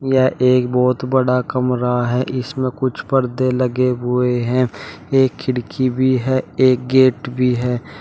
यह एक बहुत बड़ा कमरा है इसमें कुछ परदे लगे हुए हैं एक खिड़की भी है और गेट भी है।